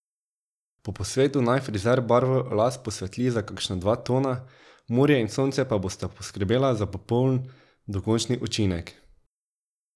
Po posvetu naj frizer barvo las posvetli za kakšna dva tona, morje in sonce pa bosta poskrbela za popoln dokončni učinek.